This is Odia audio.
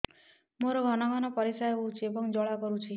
ମୋର ଘନ ଘନ ପରିଶ୍ରା ହେଉଛି ଏବଂ ଜ୍ୱାଳା କରୁଛି